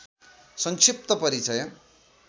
संक्षिप्त परिचय